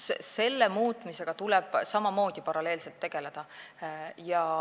Selle muutmisega tuleb paralleelselt tegeleda.